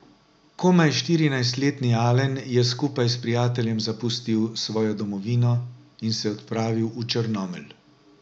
Komaj štirinajstletni Alen je skupaj s prijateljem zapustil svojo domovino in se odpravil v Črnomelj.